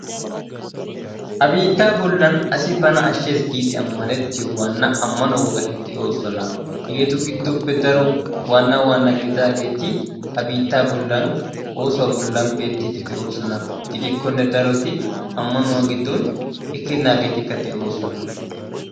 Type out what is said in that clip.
Ha biittaa bollan asi bana ashshees giidi ammaniyoo amano wogati de'oosona. Hegeetu giddoppe daro waanna waanna gidaageti ha biittaa bllaan oosuwaa bollan beettiidi de"oosona. gidikkone daroti ammanuwaa gidon ekkenageetikka de'oosona.